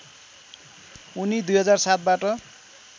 उनी २००७ बाट